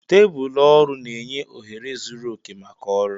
Tebụl ọrụ na-enye ohere zuru oke maka ọrụ.